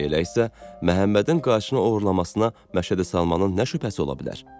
Elə isə Məhəmmədin qayçını oğurlamasına Məşədi Salmanın nə şübhəsi ola bilər?